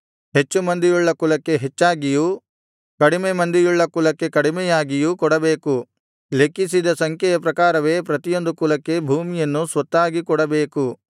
ಹೆಚ್ಚು ಮಂದಿಯುಳ್ಳ ಕುಲಕ್ಕೆ ಹೆಚ್ಚಾಗಿಯೂ ಕಡಿಮೆ ಮಂದಿಯುಳ್ಳ ಕುಲಕ್ಕೆ ಕಡಿಮೆಯಾಗಿಯೂ ಕೊಡಬೇಕು ಲೆಕ್ಕಿಸಿದ ಸಂಖ್ಯೆಯ ಪ್ರಕಾರವೇ ಪ್ರತಿಯೊಂದು ಕುಲಕ್ಕೆ ಭೂಮಿಯನ್ನು ಸ್ವತ್ತಾಗಿ ಕೊಡಬೇಕು